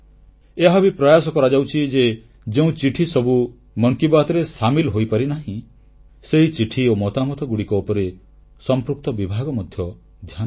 ଏହା ମଧ୍ୟ ପ୍ରୟାସ କରାଯାଉଛି ଯେ ଯେଉଁ ଚିଠି ସବୁ ମନ କି ବାତ୍ରେ ସାମିଲ ହୋଇପାରିନାହିଁ ସେହି ଚିଠି ଓ ମତାମତଗୁଡ଼ିକ ଉପରେ ସମ୍ପୃକ୍ତ ବିଭାଗ ମଧ୍ୟ ଧ୍ୟାନ ଦେଉ